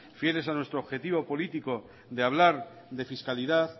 fieles a nuestro objetivo político de hablar de fiscalidad